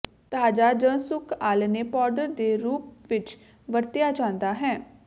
ਤਾਜ਼ਾ ਜ ਸੁੱਕ ਆਲ੍ਹਣੇ ਪਾਊਡਰ ਦੇ ਰੂਪ ਵਿਚ ਵਰਤਿਆ ਜਾਦਾ ਹੈ